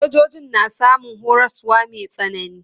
Sojojin na samun horaswa mai tsanani.